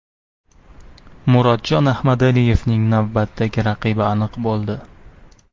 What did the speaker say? Murodjon Ahmadaliyevning navbatdagi raqibi aniq bo‘ldi.